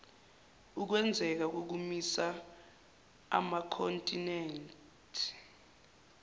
ukwenzeka kokumisa amakhontinethi